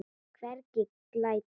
Hvergi glæta.